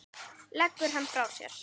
Leggur hann frá sér.